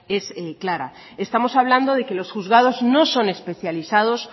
es clara estamos hablando de que los juzgados no son especializados